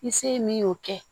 Ni se min y'o kɛ